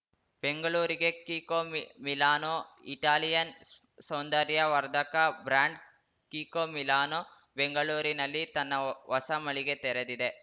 ಬೆಂಗಳೂರಿಗೆ Kiko Milano Italian ಸೌಂದರ್ಯ ವರ್ಧಕ ಬ್ರಾಂಡ್‌ ಕಿಕೋ ಮಿಲಾನೋ ಬೆಂಗಳೂರಿನಲ್ಲಿ ತನ್ನ ಹೊಸ ಮಳಿಗೆ ತೆರೆದಿದೆ